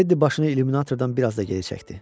Teddi başını illüminatordan biraz da geri çəkdi.